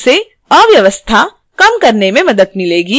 इससे अव्यवस्था कम करने में मदद मिलेगी